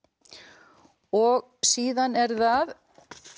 og síðan er það